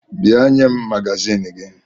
Bịa nye m magazin gị!